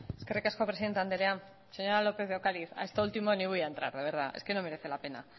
eskerrik asko presidenta andrea señora lópez de ocariz a esto último ni voy a entrar de verdad es que no merece la pena